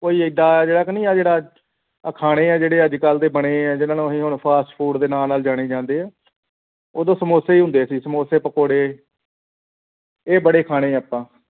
ਕੋਈ ਏਦਾਂ ਜਿਹੜਾ ਕਿ ਨਹੀਂ ਆਂ ਖਾਣੇ ਆਂ ਅੱਜ ਕਲ ਦੇ ਜੋੜੇ ਬਣੀਏਂ ਆਂ ਜਿਨ੍ਹਾਂ ਨੂੰ ਅਸੀਂ fast food ਦੇ ਨਾਂ ਨਾਲ ਜਾਣੇ ਜਾਂਦੇ ਆਂ ਓਦੋਂ ਸਮੋਸੇ ਹੀ ਹੁੰਦੇ ਸੀ ਸਮੋਸੇ ਪਕੌੜੇ ਇਹ ਬੜੇ ਖਾਣੇ ਅੱਖਾਂ